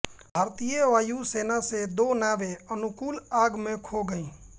भारतीय वायु सेना से दो नावें अनुकूल आग में खो गईं